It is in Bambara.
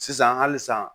Sisan hali sisan